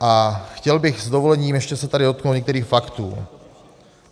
A chtěl bych s dovolením ještě se tady dotknout některých faktů.